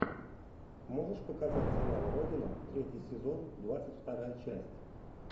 можешь показать сериал родина третий сезон двадцать вторая часть